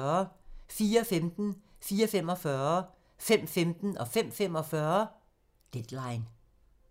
04:15: Deadline 04:45: Deadline 05:15: Deadline 05:45: Deadline